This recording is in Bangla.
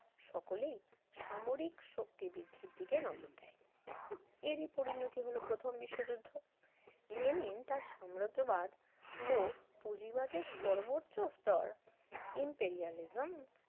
সকলেই সামরিক শক্তি বৃদ্ধির দিকে নজর দেয় এরই পরিণতি হল প্রথম বিশ্বযুদ্ধ লেনিন তার সাম্রাজ্যবাদ ও পুঁজিবাদের সর্বোচ্চ স্তর impariealism